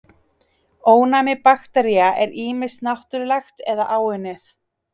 Ónæmi baktería er ýmist náttúrlegt eða áunnið.